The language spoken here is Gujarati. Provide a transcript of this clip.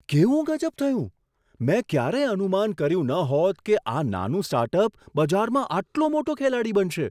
કેવું ગઝબ થયું! મેં ક્યારેય અનુમાન કર્યું ન હોત કે આ નાનું સ્ટાર્ટઅપ બજારમાં આટલો મોટો ખેલાડી બનશે.